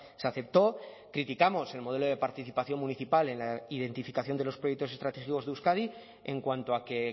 se aceptó criticamos el modelo de participación municipal en la identificación de los proyectos estratégicos de euskadi en cuanto a que